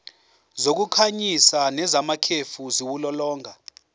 zokukhanyisa nezamakhefu ziwulolonga